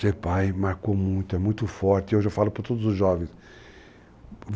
Ser pai marcou muito, é muito forte, e hoje eu falo para todos os jovens.